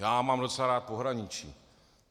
Já mám docela rád pohraničí.